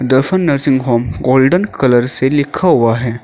दशन nursing home golden colour से लिखा हुआ है।